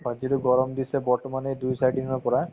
যিতো গৰম দিছে বৰ্তমান এই দুই চাৰি দিনৰ পৰা